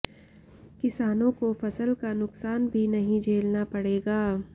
किसानों को फसल का नुकसान भी नहीं झेलना पड़ेगा